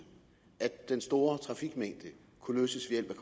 at problemerne den store trafikmængde kunne løses ved